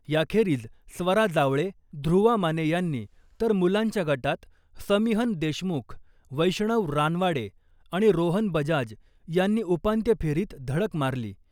याखेरीज स्वरा जावळे , ध्रुवा माने यांनी, तर मुलांच्या गटात समीहन देशमुख , वैष्णव रानवाडे आणि रोहन बजाज यांनी उपांत्य फेरीत धडक मारली .